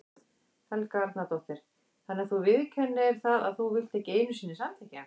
Helga Arnardóttir: Þannig að þú viðurkennir það að þú vilt ekki einu sinni samþykkja?